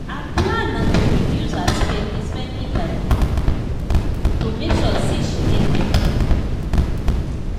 her plan na to reduce her spendi-spendi by thirty percent to make sure say she get better retayament.